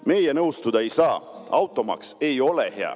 Meie nõustuda ei saa, automaks ei ole hea.